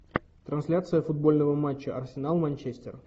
трансляция футбольного матча арсенал манчестер